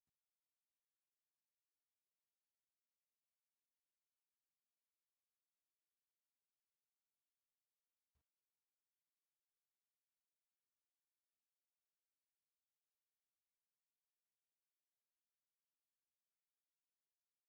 suuraa kanarraa kan agarru suuraa dubartii faranjii mudhii ol qofaa kan lapheen ishee banamaa ta'ee mormatti immo habilii warqee irraa hojjatame fi boca onnee kan fakkaatan lama itti rarra'anidha. ISheenis kootii adii duubaan uffatteetti.